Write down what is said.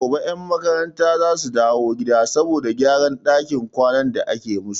Gobe 'yan makarantar za su dawo gida saboda gyaran dakin kwanan da ake musu.